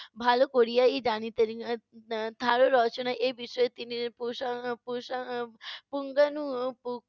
ভালো করিয়াই জানিতেন এ বিষয় তিনি পুঙ্গাণু